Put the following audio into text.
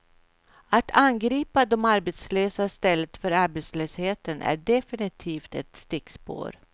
Att angripa de arbetslösa i stället för arbetslösheten är definitivt ett stickspår.